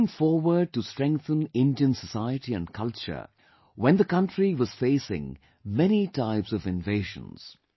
She came forward to strengthen Indian society and culture when the country was facing many types of invasions